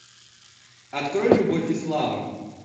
открой любовь и слава